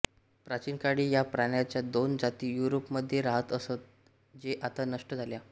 प्राचीन काळी या प्राण्याच्या दोन जाती युरोप मध्ये राहत असत जे आता नष्ट झाल्या